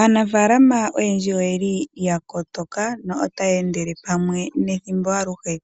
Aanafaalama oyendji oyeli ya kotoka na otaya endelele pamwe nethimbo aluhe.